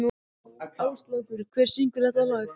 Áslákur, hver syngur þetta lag?